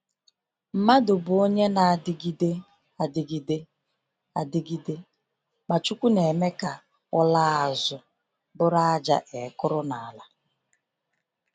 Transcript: Mmadụ bụ onye na-adịgide adịgide, adịgide, ma Chukwu na-eme ka ọ ‘laa azụ bụrụ ájá e kụrụ n’ala.’